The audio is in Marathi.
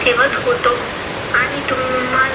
ठेवत होतो आणि तुम्हा काम केले.